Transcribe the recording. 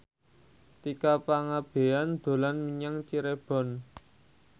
Tika Pangabean dolan menyang Cirebon